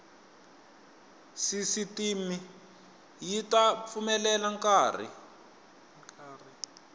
sisitimi yi ta pfumelela nkari